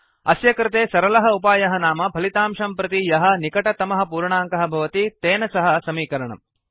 अस्य कृते सरलः उपायः नाम फलितांशं प्रति यः निकटतमः पूर्णाङ्कः भवति तेन सह समीकरणम्